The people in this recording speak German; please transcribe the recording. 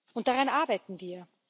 Und daran arbeiten wir.